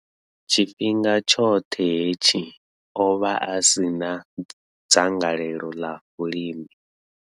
Tshifhinga tshoṱhe hetshi, o vha a si na dzangalelo ḽa vhulimi.